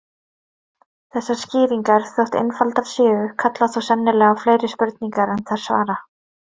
Þessar skýringar, þótt einfaldar séu, kalla þó sennilega á fleiri spurningar en þær svara.